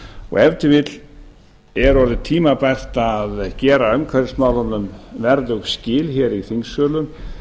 og ef til vill er orðið tímabært að gera umhverfismálunum verðug skil í þingsölum